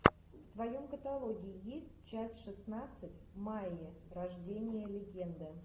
в твоем каталоге есть часть шестнадцать майя рождение легенды